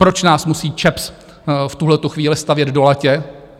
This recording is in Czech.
Proč nás musí ČEPS v tuhletu chvíli stavět do latě?